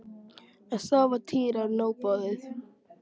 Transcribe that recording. En þá var Týra nóg boðið.